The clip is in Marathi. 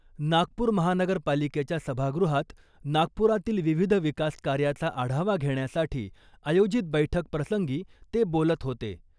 नागपूर महानगरपालिकेच्या सभागृहात नागपुरातील विविध विकास कार्याचा आढावा घेण्यासाठी आयोजित बैठकप्रसंगी ते बोलत होते.